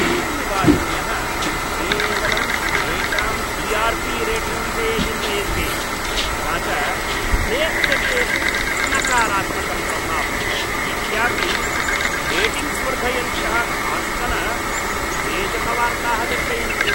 T V वाहिन्यः केवलं स्वेषां टी आर् पी रेटिङ्ग् विषये चिन्तयन्ति, तथा च प्रेक्षकेषु नकारात्मकं प्रभावं व्यतीत्यापि रेटिङ्ग्स् वर्धयन्त्यः काश्चन उद्वेजकवार्ताः दर्शयन्ति।